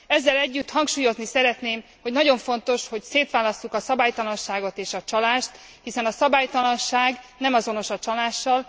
Ezzel együtt hangsúlyozni szeretném, hogy nagyon fontos, hogy szétválasszuk a szabálytalanságot és a csalást, hiszen a szabálytalanság nem azonos a csalással.